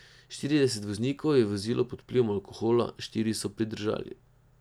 Štirideset voznikov je vozilo pod vplivom alkohola, štiri so pridržali.